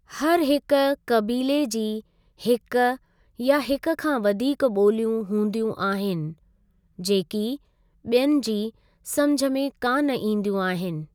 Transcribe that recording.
हर हिकु क़बीले जी हिकु या हिकु खां वधीक बो॒लियूं हूंदियूं आहिनि जेकी बि॒यनि जी समुझ में कान ईंदियूं आहिनि।